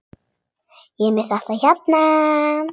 Ég er með þetta hérna.